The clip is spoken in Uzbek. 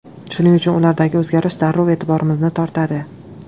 Shuning uchun ulardagi o‘zgarish darrov e’tiborimizni tortadi.